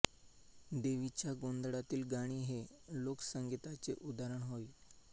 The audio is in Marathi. देवी च्या गोंधळातील गाणी हे लोकसंगिताचे उदाहरण होय